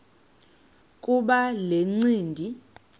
kuba le ncindi